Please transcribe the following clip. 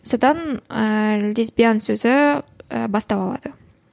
содан ііі лесбиян сөзі і бастау алады